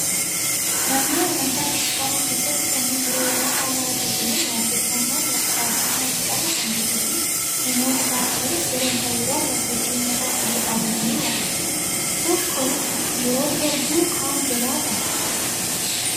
Manneen amantaa kiristaanaa keessatti kanneen biroo irraa haala adda ta'een waaqeffannaan faarfanna jedhamu kan jiruu fi namoonni faarfatanis gareen ta'uudhaan waltajjii uummata fuuldura dhaabbatanii waaqeffatu. Tokko yoo dura bu'u kaan jalaa qaba.